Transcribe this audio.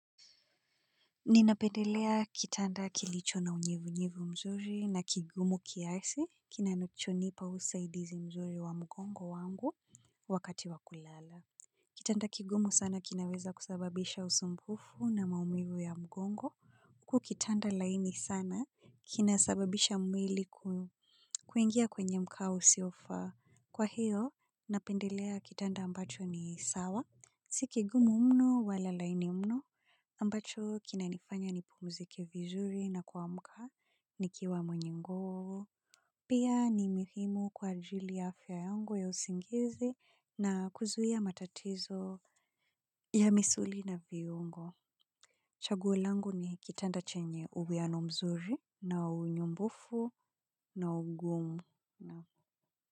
Ninapendelea kitanda kilicho na unyevunyevu mzuri na kigumu kiasi kinanachonipa usaidizi mzuri wa mgongo wangu wakati wa kulala. Kitanda kigumu sana kinaweza kusababisha usumbufu na maumivu ya mgongo. Huku kitanda laini sana kinasababisha mwili kuingia kwenye mkao usiofaa. Kwa hio, napendelea kitanda ambacho ni sawa. Si kigumu mno wala laini mno ambacho kinanifanya nipumzike vizuri na kuamka nikiwa mwenye nguvu, pia ni muhimu kwa ajili ya afya yangu ya usingizi na kuzuia matatizo ya misuli na viungo. Chaguo langu ni kitanda chenye uwiano mzuri na unyumbufu na ugumu.